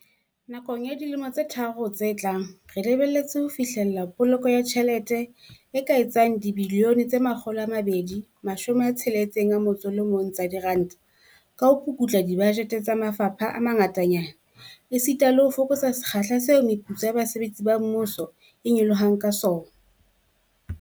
Nakong ya dilemo tse tharo tse tlang, re lebelletse ho fihlella poloko ya tjhelete e ka etsang R261 bilione ka ho pukutla dibajete tsa mafapha a mangatanyana, esita le ho fokotsa sekgahla seo meputso ya basebetsi ba mmuso e nyolohang ka sona.